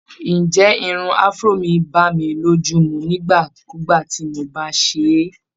Ǹjẹ́ irun Afro mi bá mi lójú mu nígbà kugbà tí mo bá ṣe é?